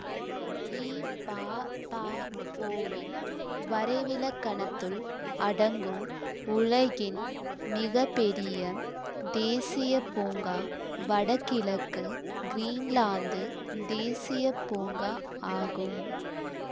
இபாபஒ வின் வரைவிலக்கணத்துள் அடங்கும் உலகின் மிக பெரிய தேசியப்பூங்கா வடகிழக்கு கிரீன்லாந்து தேசிய பூங்கா ஆகும்